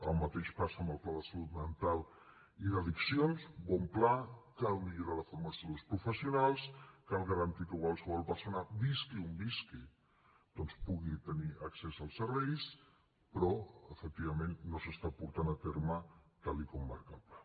el mateix passa amb el pla de salut mental i d’addiccions bon pla cal millorar la formació dels professionals cal garantir que qualsevol persona visqui on visqui doncs pugui tenir accés als serveis però efectivament no s’està portant a terme tal com marca el pla